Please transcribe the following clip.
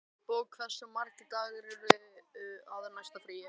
Finnborg, hversu margir dagar fram að næsta fríi?